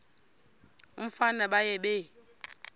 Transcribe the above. umfana baye bee